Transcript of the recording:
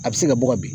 A bɛ se ka bɔ ka bin